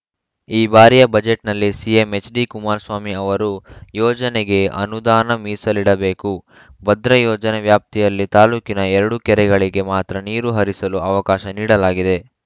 ಈ ಬಾರಿಯ ಬಜೆಟ್‌ನಲ್ಲಿ ಸಿಎಂ ಎಚ್‌ಡಿಕುಮಾರಸ್ವಾಮಿ ಅವರು ಯೋಜನೆಗೆ ಅನುದಾನ ಮೀಸಲಿಡಬೇಕು ಭದ್ರಾ ಯೋಜನೆ ವ್ಯಾಪ್ತಿಯಲ್ಲಿ ತಾಲೂಕಿನ ಎರಡು ಕೆರೆಗಳಿಗೆ ಮಾತ್ರ ನೀರು ಹರಿಸಲು ಅವಕಾಶ ನೀಡಲಾಗಿದೆ